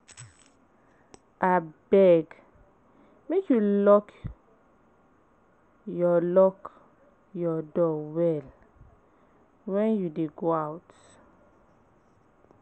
Abeg, make you lock your lock your door well when you dey go out.